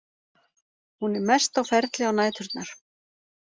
Hún er mest á ferli á næturnar.